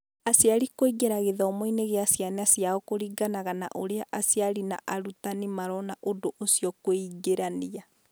Aciari kũingĩra gĩthomo-inĩ kĩa ciana ciao kũringana na ũrĩa aciari na arutani marona ũndũ ũcio kwĩingĩrania.